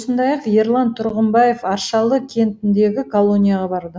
сондай ақ ерлан тұрғымбаев аршалы кентіндегі колонияға барды